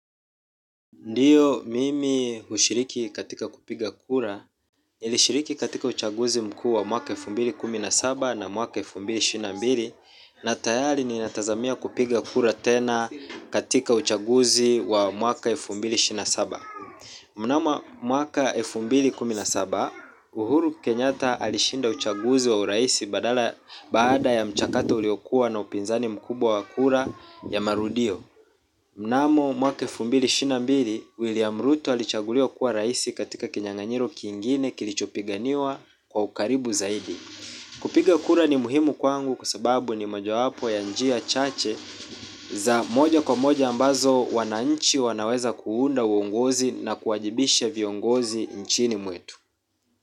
Ndiyo mimi ushiriki katika kupiga kura, nilishiriki katika uchaguzi mkuu wa mwaka elfu kumi na mbili na saba na mwaka elfu mbili ishirini na mbili na tayari ninatazamia kupiga kura tena katika uchaguzi wa mwaka elfu mbili ishirini na saba. Mnamo mwaka elfu mbili kumi na saba, Uhuru Kenyatta alishinda uchaguzi wa uraisi badala baada ya mchakato uliokua na upinzani mkubwa wa kura ya marudio. Mnamo mwaka elfu mbili ishirini na mbili William Ruto alichaguliwa kuwa raisi katika kinyanganyiro kingine kilichopiganiwa kwa ukaribu zaidi kupiga kura ni muhimu kwangu kwa sababu ni mojawapo ya njia chache za moja kwa moja ambazo wananchi wanaweza kuunda uongozi na kuajibisha viongozi nchini mwetu.